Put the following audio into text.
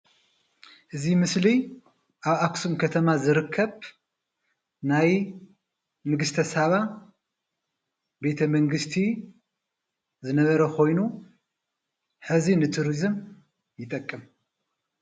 እዚ ምስሊ ኣብ ኣክሱም ከተማ ዝርከብ ናይ ንግተ ሳባ ቤተመንግስቲ ዝነበረ ኮይኑ ሕዚ ንቱሪዝም ይጠቅም።